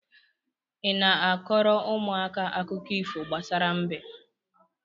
Ị na-a kọọrọ ụmụaka akụkọ ifo gbasara mbe?